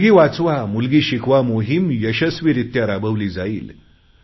मुलगी वाचवामुलगी शिकवा मोहीम यशस्वीरित्या राबवली जाईल